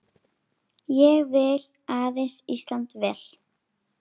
Ég vil aðeins Íslandi vel.